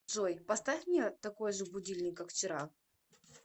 джой поставь мне такой же будильник как вчера